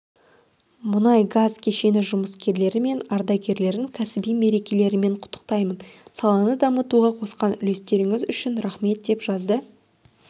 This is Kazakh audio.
мұнай-газ кешені жұмыскерлері мен ардагерлерін кәсіби мерекелерімен құттықтаймын саланы дамытуға қосқан үлестеріңіз үшін рахмет деп жазды